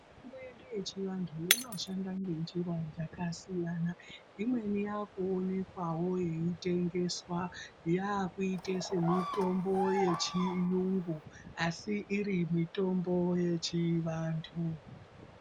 Mitombo yedu ye chi vantu ino shanda nge njira dzaka siyana imweni yaku onekwawo yeitengeswa yakuite se mitombo ye chiyungu asi iri mitombo yechi antu.